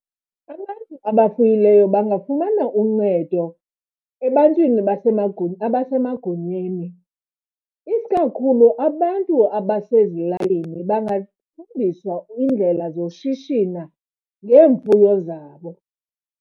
Abantu abafuyileyo bangafumana uncedo ebantwini abasemagunyeni. Isikakhulu abantu abasezilalini bangafundiswa iindlela zoshishina ngeemfuyo zabo.